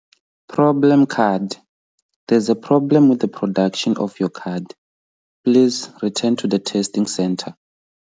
Problem card- There is a problem with the production of your card. Please return to the testing centre.